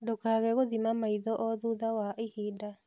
Ndũkage gũthima maitho o thutha wa ihinda